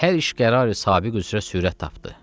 Hər iş qərarı sabiq üzrə sürət tapdı.